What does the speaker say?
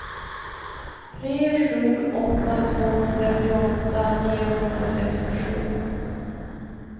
tre sju åtta två trettioåtta niohundrasextiosju